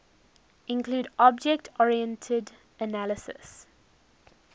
include object oriented analysis